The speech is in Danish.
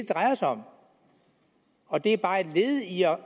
drejer sig om og det er bare et led i at